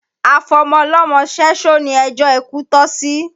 Afọmọlọ́mọ ṣẹ́ṣó ni ẹjó ikú tọ́ sí